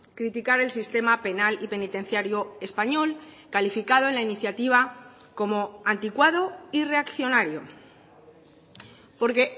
criticar el sistema penal y penitenciario español calificado en la iniciativa como anticuado y reaccionario porque